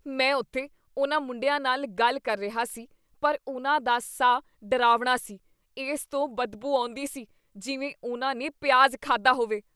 ਮੈਂ ਉੱਥੇ ਉਨ੍ਹਾਂ ਮੁੰਡਿਆਂ ਨਾਲ ਗੱਲ ਕਰ ਰਿਹਾ ਸੀ ਪਰ ਉਨ੍ਹਾਂ ਦਾ ਸਾਹ ਡਰਾਵਣਾ ਸੀ। ਇਸ ਤੋਂ ਬਦਬੂ ਆਉਂਦੀ ਸੀ ਜਿਵੇਂ ਉਨ੍ਹਾਂ ਨੇ ਪਿਆਜ਼ ਖਾਧਾ ਹੋਵੇ।